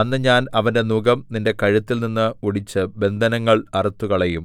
അന്ന് ഞാൻ അവന്റെ നുകം നിന്റെ കഴുത്തിൽനിന്ന് ഒടിച്ച് ബന്ധനങ്ങൾ അറുത്തുകളയും